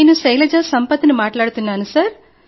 నేను శైలజ సంపత్ ను మాట్లాడుతున్నాను